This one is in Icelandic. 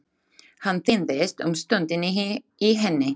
Hann týndist um stund inni í henni.